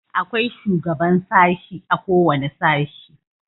Akwai shugaban sashi a kowane sashi.